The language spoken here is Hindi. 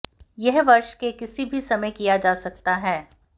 यह वर्ष के किसी भी समय किया जा सकता है